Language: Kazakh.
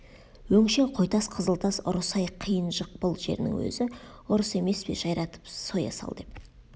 өңшең қойтас қызылтас ұры сай қиын жықпыл жерінің өзі ұры емес пе жайратып соя сал деп